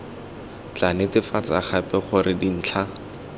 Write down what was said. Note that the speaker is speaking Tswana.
tla netefatsa gape gore dintlha